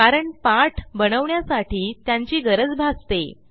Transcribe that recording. कारण पाठ बनवण्यासाठी त्यांची गरज भासते